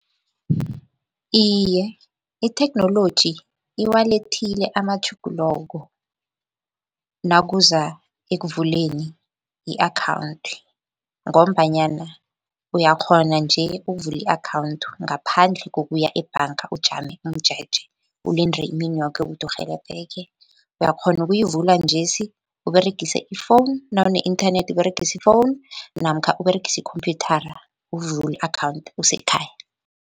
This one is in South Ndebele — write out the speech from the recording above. Iye, itheknoloji iwalethile amatjhuguloko nakuza ekuvuleni i-akhawunthi, ngombanyana uyakghona nje ukuvula i-akhawunthi ngaphandle kokuya ebhanga ujame umjeje, ulinde imini yoke ukuthi urhelebheke. Uyakghona ukuyivula njesi, Uberegise i-phone nawune-internet Uberegise i-phone namkha Uberegise ikhomphyuthara ukuvula i-akhawunthu usekhaya.